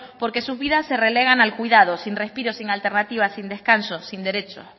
porque sus vidas se relegan al cuidado sin respiro sin alternativas sin descanso sin derecho